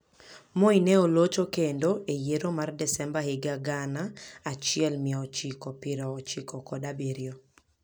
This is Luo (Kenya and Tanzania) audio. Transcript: Moi ne olocho kendo e yiero mar Desemba higa gana achiel mia ochiko piero ochiko kod abiriyo.